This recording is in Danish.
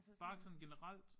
Bare sådan generelt?